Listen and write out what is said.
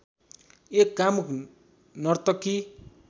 एक कामुक नर्तकी